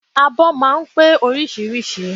Abọ́ máa ń pé oríṣiríṣi